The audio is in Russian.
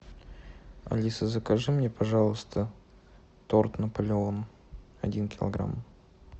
алиса закажи мне пожалуйста торт наполеон один килограмм